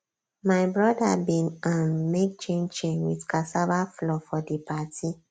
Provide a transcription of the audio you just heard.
my brother bin um make chin chin with cassava flour for di party